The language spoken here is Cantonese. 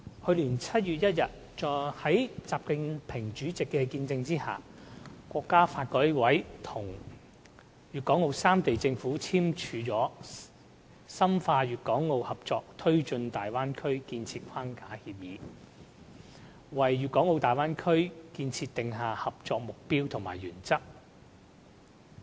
去年7月1日，在習近平主席的見證下，國家發展和改革委員會與粵港澳三地政府簽署了《深化粵港澳合作推進大灣區建設框架協議》，為大灣區建設訂下合作目標和原則。